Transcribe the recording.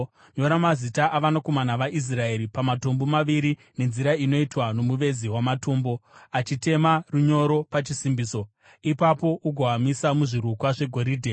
Nyora mazita avanakomana vaIsraeri pamatombo maviri nenzira inoitwa nomuvezi wamatombo achitema runyoro pachisimbiso. Ipapo ugoamisa muzvirukwa zvegoridhe